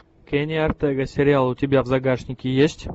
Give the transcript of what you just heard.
кенни ортега сериал у тебя в загашнике есть